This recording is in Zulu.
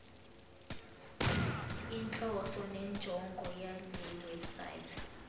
inhloso nenjongo yalewebsite